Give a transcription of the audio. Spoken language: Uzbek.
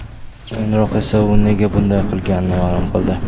Keyinroq esa u nega bunday qilganini ma’lum qildi .